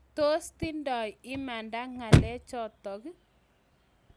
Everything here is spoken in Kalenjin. Tos tindai imanda ng'alek chotok?